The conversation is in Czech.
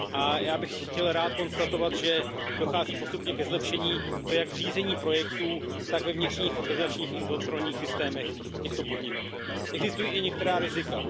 A já bych chtěl rád konstatovat, že dochází postupně ke zlepšení, a to jak v řízení projektů, tak ve vnitřních organizačních i kontrolních systémech těchto podniků. Existují i některá rizika.